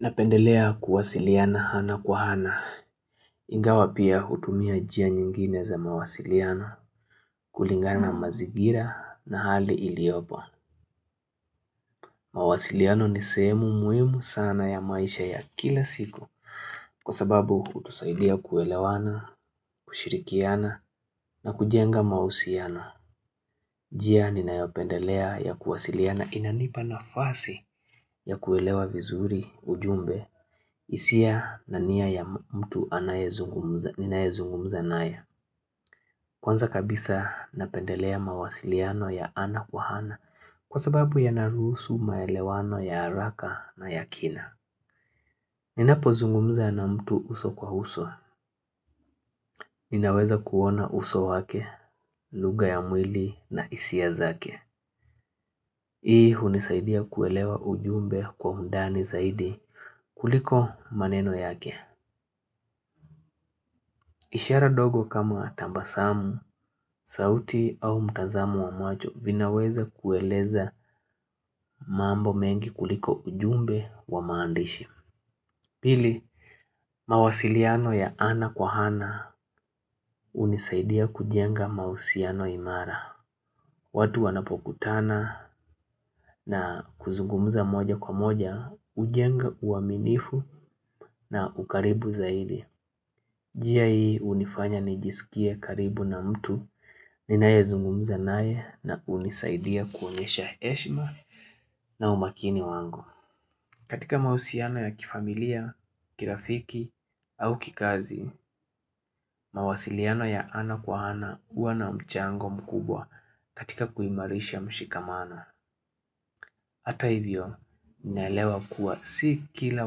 Napendelea kuwasiliana ana kwa ana, ingawa pia hutumia njia nyingine za mawasiliano, kulingana mazigira na hali iliopo. Mawasiliano ni sehemu muhimu sana ya maisha ya kila siku Kwa sababu hutusaidia kuelewana, kushirikiana na kujenga mahusiano. Njia ninayopendelea ya kuwasiliana inanipa na fasi ya kuelewa vizuri ujumbe hisia na nia ya mtu anaye, ninaye zungumza naye. Kwanza kabisa napendelea mawasiliano ya ana kwa ana kwa sababu yanaruhusu maelewano ya haraka na ya kina. Ninapo zungumza na mtu uso kwa uso, ninaweza kuona uso wake, lugha ya mwili na hisia zake. Hii unisaidia kuelewa ujumbe kwa undani zaidi kuliko maneno yake ishara ndogo kama tambasamu, sauti au mtazamo wa macho vinaweza kueleza mambo mengi kuliko ujumbe wa maandishi Pili, mawasiliano ya ana kwa hana unisaidia kujenga mahusiano imara watu wanapokutana na kuzungumza moja kwa moja hujenga uaminifu na ukaribu zaidi njia hii hunifanya nijisikie karibu na mtu ninaye zungumza nae na skunisaidia kuonyesha heshma na umakini wangu katika mahusiano ya kifamilia, kirafiki au kikazi. Mawasiliano ya ana kwa ana hua na mchango mkubwa katika kuimarisha mshikamano. Hata hivyo ninaelewa kuwa si kila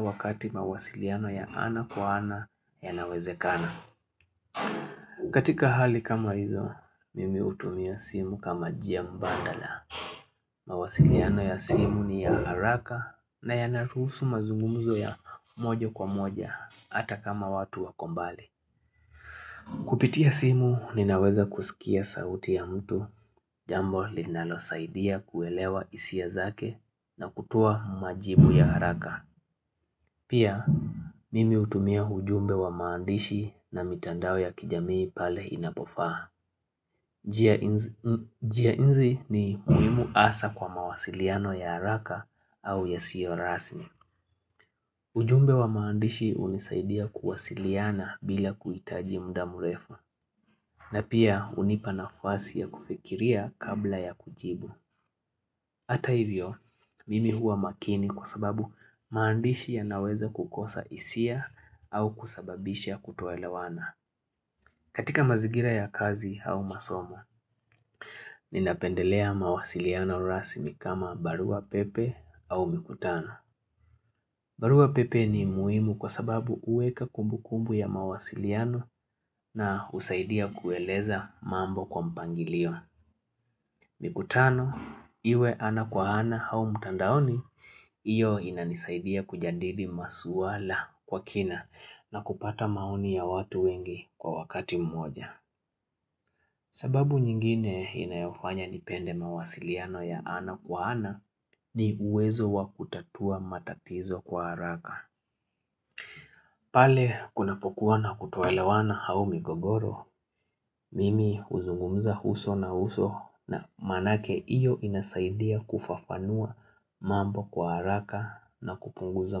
wakati mawasiliano ya ana kwa ana ya nawezekana. Katika hali kama hizo mimi hutumia simu kama njia mbadala mawasiliano ya simu ni ya haraka na yanaruhusu mazungumzo ya mojo kwa moja hata kama watu wako mbali. Kupitia simu ninaweza kusikia sauti ya mtu jambo linalo saidia kuelewa hisia zake na kutoa majibu ya haraka. Pia, mimi hutumia ujumbe wa maandishi na mitandao ya kijamii pale inapofaa. Njia hizi ni muhimu haswa kwa mawasiliano ya haraka au ya sio rasmi. Ujumbe wa maandishi hunisaidia kuwasiliana bila kuhitaji muda mrefu. Na pia, hunipa nafasi ya kufikiria kabla ya kujibu. Hata hivyo, mimi huwa makini kwa sababu maandishi yanaweza kukosa hisia au kusababisha kutoelawana. Katika mazigira ya kazi au masomo, ninapendelea mawasiliano rasmi kama barua pepe au mikutano. Barua pepe ni muimu kwa sababu uweka kumbu kumbu ya mawasiliano na husaidia kueleza mambo kwa mpangilio. Mikutano, iwe ana kwa ana au mtandaoni, hiyo inanisaidia kujadili masuala kwa kina na kupata maoni ya watu wengi kwa wakati mmoja. Sababu nyingine inayofanya nipende mawasiliano ya ana kwa ana ni uwezo wa kutatua matatizo kwa haraka. Pale kunapokuwa na kutoelewana au migogoro, mimi huzungumza uso na uso na maanake iyo inasaidia kufafanua mambo kwa haraka na kupunguza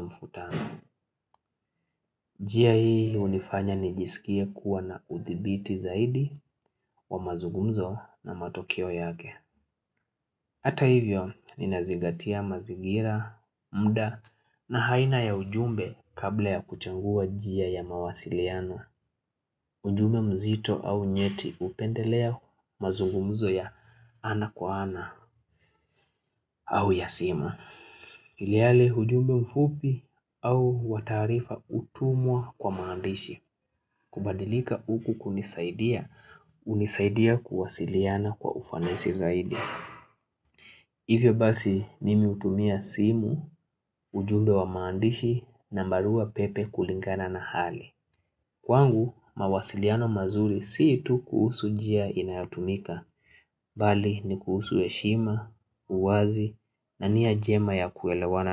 mfutano. Njia hii hunifanya nijisikie kuwa na udhibiti zaidi wa mazugumzo na matokeo yake. Hata hivyo ninazigatia mazigira, muda na aina ya ujumbe kabla ya kuchangua jia ya mawasiliana. Ujumbe mzito au nyeti upendelea mazungumzo ya ana kwa ana au ya simu. Ilihali ujumbe mfupi au wa tarifa hutumwa kwa maandishi. Kubadilika huku kunisaidia, hunisaidia kuwasiliana kwa ufanasi zaidi. Hivyo basi mimi hutumia simu, ujumbe wa maandishi na barua pepe kulingana na hali. Kwangu mawasiliano mazuri si tu kuhusu njia inayotumika. Bali ni kuhusu heshima, uwazi na nia njema ya kuelewana na.